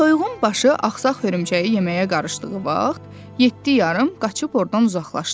Toyuğun başı axsaq hörümçəyi yeməyə qarışdığı vaxt yeddi yarım qaçıb ordan uzaqlaşdı.